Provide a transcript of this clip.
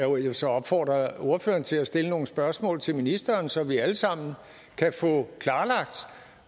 vil så opfordre ordføreren til at stille nogle spørgsmål til ministeren så vi alle sammen kan få klarlagt